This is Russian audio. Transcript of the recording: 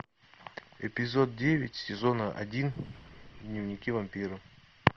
эпизод девять сезона один дневники вампира